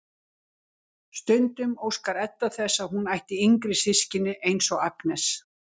Stundum óskar Edda þess að hún ætti yngri systkini eins og Agnes.